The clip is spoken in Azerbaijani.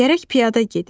Gərək piyada gedim.